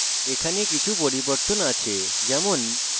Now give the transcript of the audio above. এখানে কিছু পরিবর্তন আছে যেমন: